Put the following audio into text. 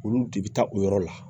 Olu de bɛ taa o yɔrɔ la